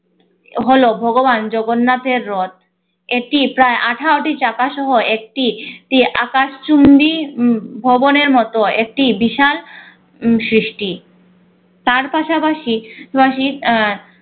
হলো ভগবান জগন্নাথের রথ এটি প্রায়আঠারো টি চাকা সহ একটি একটি আকাশচুম্বি উম ভবনের মত একটি বিশাল উম সৃষ্টি তার পাশাপাশি পাশাপাশি আহ